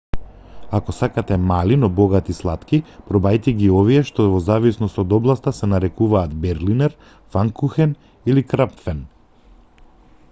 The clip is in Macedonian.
ако сакате мали но богати слатки пробајте ги овие што во зависност од областа се нарекуваат берлинер фанкухен или крапфен